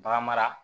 Bagan mara